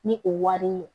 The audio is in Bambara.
Ni o wari ye